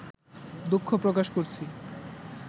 দুঃখ প্রকাশ করছি